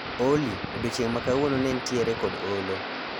Olly, odiechieng ma kawuono ne nitiere kod olo